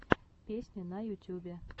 песни на ютюбе